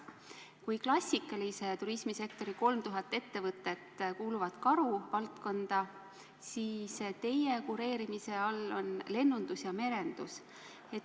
Kui klassikalise turismisektori 3000 ettevõtet kuuluvad minister Karu valdkonda, siis teie kureerimise all on lennundus ja merendus.